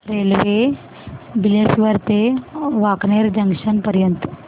railway Bileshwar ते Wankaner junction पर्यंत